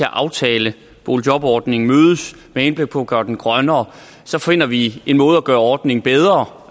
at aftale boligjobordningen mødes med henblik på at gøre den grønnere så finder vi en måde at gøre ordningen bedre